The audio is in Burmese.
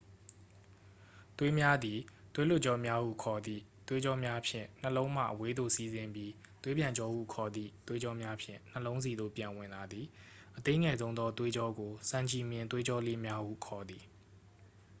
သွေးများသည် သွေးလွှတ်ကြောများဟု ခေါ်သည့် သွေးကြောများဖြင့် နှလုံးမှ အဝေးသို့ စီးဆင်းပြီး သွေးပြန်ကြောဟု ခေါ်သည့် သွေးကြောများဖြင့် နှလုံးဆီသို့ ပြန်ဝင်လာသည် အသေးငယ်ဆုံးသောသွေးကြောကို ဆံချည်မျှင်သွေးကြောလေးများဟု ခေါ်သည်